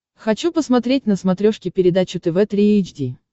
хочу посмотреть на смотрешке передачу тв три эйч ди